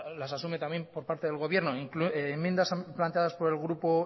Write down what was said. las asume también por parte del gobierno enmiendas planteadas por el grupo